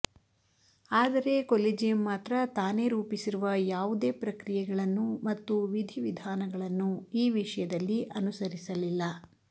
ಆದರೆ ಕೊಲೆಜಿಯಂ ಮಾತ್ರ ತಾನೇ ರೂಪಿಸಿರುವ ಯಾವುದೇ ಪ್ರಕ್ರಿಯೆಗಳನ್ನು ಮತ್ತು ವಿಧಿವಿಧಾನಗಳನ್ನು ಈ ವಿಷಯದಲ್ಲಿ ಅನುಸರಿಸಲಿಲ್ಲ್